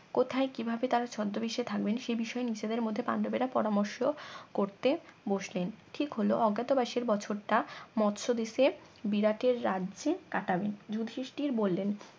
কোথায় কিভাবে তারা ছদ্মবেশে থাকবেন সে বিষয়ে নিজেদের মধ্যে পান্ডবেরা পরামর্শ ্করতে বসলেন ঠিক হল অজ্ঞাতবাসের বছর টা মৎসদেশে বিরাটের রাজ্যে কাটাবেন যুধিষ্টির বললেন